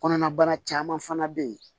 Kɔnɔnabana caman fana bɛ yen